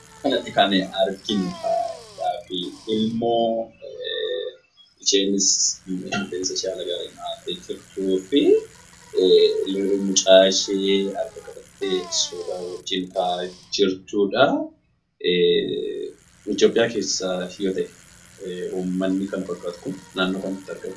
Bakka kanatti kan arginu ilmoo isheenis rifeensa ishee haala gaariin dhahattee kan jirtuu fi mucaa ishee harka qabattee suuraa wajjin ka'aa jirtuudha. Itoophiyaa keessa yoo ta'e uummanni kana fakkaatu kun naannoo kamitti argama?